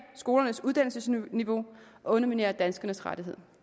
skolernes uddannelsesniveau og underminere danskernes rettigheder